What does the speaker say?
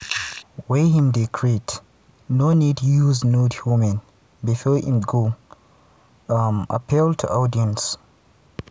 wey im dey create no need use nude women bifor im go appeal to audience.